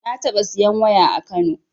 Na taɓa siyan waya a kano